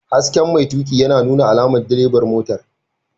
Hasken mai tuƙi yana nuna alamar direban motar.